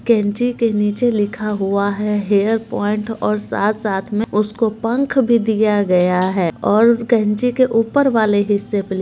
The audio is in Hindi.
कैंची के नीचे लिखा हुआ है हेयर पॉइंट और साथ-साथ में उसको पंख भी दिया गया है और कैंची के ऊपर वाले हिस्से पे ली --